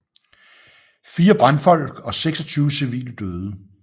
Fire brandfolk og 26 civile døde